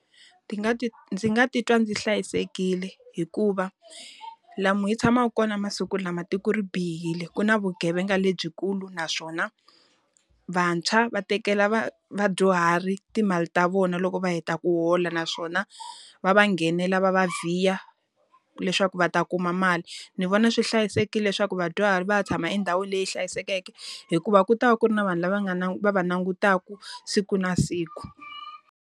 Nga ndzi nga titwa ndzi hlayisekile hikuva lomu hi tshamaka kona masiku lama tiko ri bihile. Ku na vugevenga lebyikulu naswona, vantshwa va tekela vadyuhari timali ta vona loko va heta ku hola. Naswona, va va nghenela va va vhiya leswaku va ta kuma mali. Ndzi vona swi hlayisekile leswaku vadyuhari va ya tshama endhawini leyi hlayisekeke, hikuva ku ta va ku ri na vanhu lava nga va va langutaka siku na siku.